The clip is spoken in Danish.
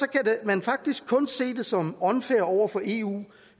kan man faktisk kun se det som unfair over for eu